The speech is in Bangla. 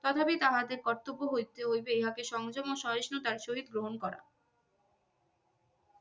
তথাপি তাহাদের কর্তব্য হইতে হইবে ইহাকে সংযম ও সহিষ্ণুতায় চরিত গ্রহন করা